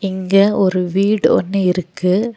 இங்க ஒரு வீடு ஒன்னு இருக்கு.